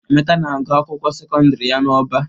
Emeka na-agụ akwụkwọ sekondiri ya n'Ọba.